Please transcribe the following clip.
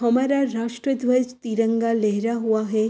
हमारा राष्ट्रधव्ज तिरंगा लेहरा हुआ है।